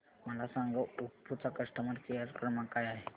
मला सांगा ओप्पो चा कस्टमर केअर क्रमांक काय आहे